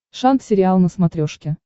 шант сериал на смотрешке